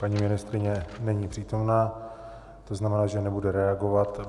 Paní ministryně není přítomná, to znamená, že nebude reagovat.